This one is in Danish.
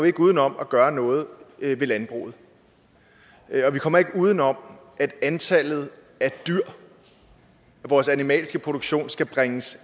ikke uden om at gøre noget ved landbruget og vi kommer ikke uden om at antallet af dyr vores animalske produktion skal bringes